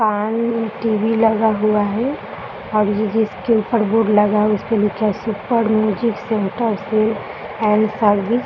fan TV लगा हुआ है और जिसके ऊपर बोर्ड लगा है उसके नीचे super music centre sale and service --